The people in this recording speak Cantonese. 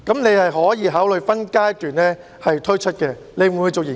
你可以考慮分階段推出，你會否作出研究？